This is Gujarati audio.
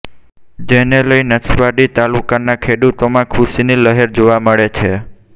જેને લઇ નસવાડી તાલુકાનાં ખેડૂતોમાં ખુશીની લહેર જોવા મળે છે